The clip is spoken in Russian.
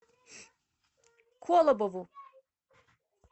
колобову